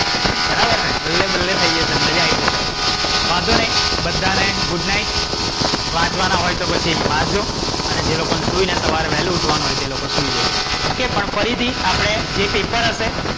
બરાબર ને બલ્લે બલ્લે થઈ જશે મજા આય જશે. વાંધો નઇ બધા ને good night. વાંચવાના હોય તો પછી વાંચજો. અને જે લોકોને સવારે વેલું ઉઠાવાનું હોય એ લોકો સૂઈ જજો. OK પણ ફરીથી આપણે જે પેપર હશે,